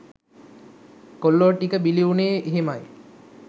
කොල්ලො ටික බිලි උනේ එහෙමයි.